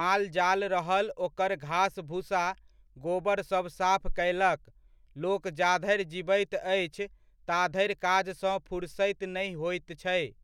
माल जाल रहल ओकर घास भुसा, गोबर सब साफ कयलक, लोक जा धरि जिबैत अछि ता धरि काजसँ फुरसति नहि होइत छै ।